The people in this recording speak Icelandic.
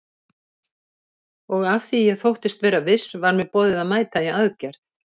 Og af því ég þóttist vera viss var mér boðið að mæta í aðgerð.